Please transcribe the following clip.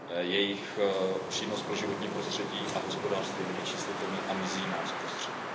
Jejich přínos pro životní prostředí a hospodářství je nevyčíslitelný a mizí nám z prostředí.